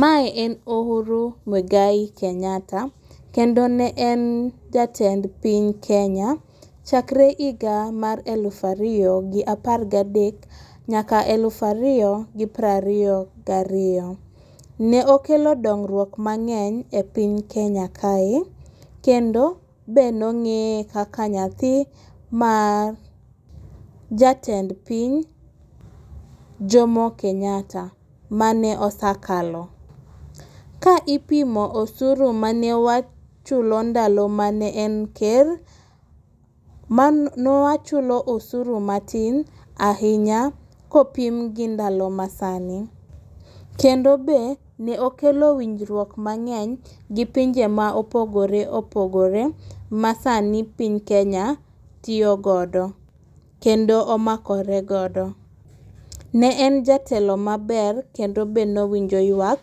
Mae en Uhuru Mwigai Kenyatta, kendo ne en jatend piny Kenya chakre higa mar elufalariyo gi par ga dek, nyaka elufariyo gi prariyo gi ariyo, ne okelo dongruok mang'eny e piny Kenya kae, kendo be nong'eye kaka nyathi ma ja tend piny Jomo Kentatta ma ne osekalo. Ka ipimo osuru mane wachulo ndalo mane en ker, newachulo osuru matin ahinya kopim gi ndalo masani, kendo be ne okelo winjruok mang'eny gi pinje ma opogore opogore masani piny Kenya tiyogodo kendo omakoregodo. Ne en jatelo maber kendo be ne owinjo ywak